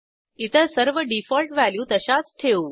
इतर सर्व default value तशाच ठेवू